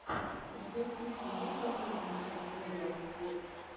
у тебя в списке есть последняя часть вэлиал сквод